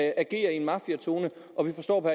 agerer i en mafiatone og vi forstår på